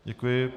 Děkuji.